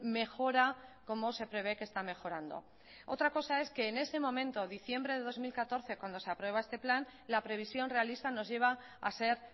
mejora como se prevé que está mejorando otra cosa es que en ese momento diciembre de dos mil catorce cuando se aprueba este plan la previsión realista nos lleva a ser